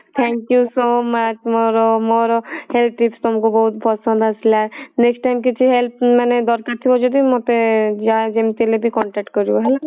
thank you so much ମୋର ମୋର health tips ତମକୁ ବହୁତ ପସନ୍ଦ ଆସିଲା next time କିଛି help ମାନେ ଦରକାର ଥିବ ଯଦି ମୋତେ ଯାହା ଯେମତି ହେଲେ ବି contact କରିବ ହେଲା।